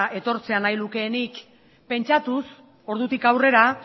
etortzea nahi lukeenik pentsatuz ordutik aurrera